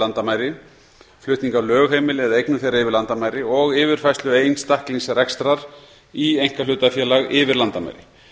landamæri flutning á lögheimili eða eignum þeirra yfir landamæri og yfirfærslu einstaklingsrekstrar í einkahlutafélag yfir landamæri